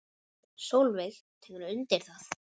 Sólveig tekur undir það.